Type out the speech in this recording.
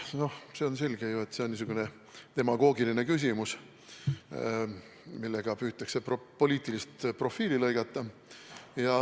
On ju selge, et see on demagoogiline küsimus, millega püütakse poliitilist profiiti lõigata.